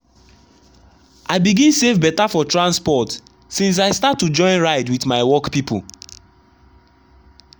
i begin save better for transport since i start to join ride with my work people.